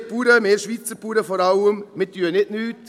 Wir Bauern, wir Schweizer Bauern vor allem, machen nicht nichts: